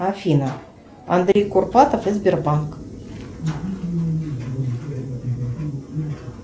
афина андрей курпатов и сбербанк